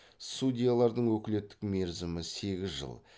судьялардың өкілеттік мерзімі сегіз жыл